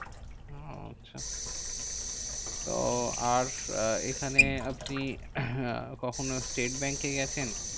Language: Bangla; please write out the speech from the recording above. ওহ আচ্ছা তো আর এখানে আপনি কখনো স্টেট ব্যাঙ্কে গেছেন?